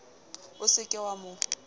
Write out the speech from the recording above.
o se ke wa mo